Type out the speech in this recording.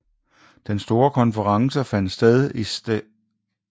Den store konference fandt sted i St